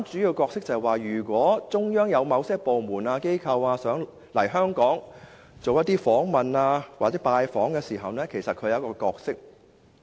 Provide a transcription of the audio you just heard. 如果中央有某些部門、機構想來港進行訪問或拜訪，中聯辦就扮演主要角色。